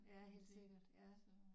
Ja helt sikkert ja